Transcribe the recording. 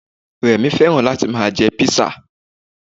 Rẹ̀mí fẹ́ràn láti ma jẹ písà